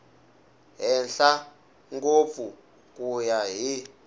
henhla ngopfu ku ya hi